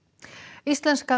íslenska